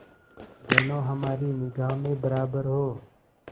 दोनों हमारी निगाह में बराबर हो